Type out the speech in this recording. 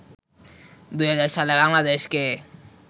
২০০০ সালে বাংলাদেশকে